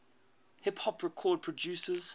hip hop record producers